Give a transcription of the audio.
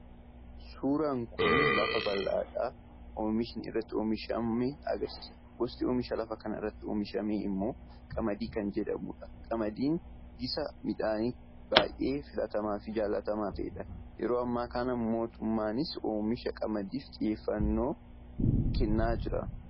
Suuraan kun lafa baldhaa oomishni irratti oomishame agarsiisa. Gosti oomisha lafa kanarratti oomishamee immoo Qamadii kan jedhamudha. Qamadiin gisa midhaanii baay'ee filatamaa fi jaallatamaa ta'edha. Yeroo ammaa kana mootummaanis oomisha Qamadiif xiyyeefgannoo kennee jira.